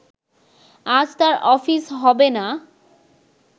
আজ তার অফিস হবে না